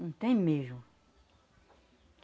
Não tem mesmo.